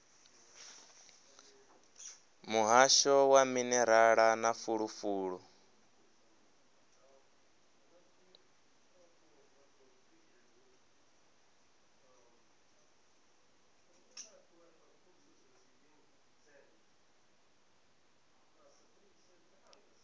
muhasho wa minerala na fulufulu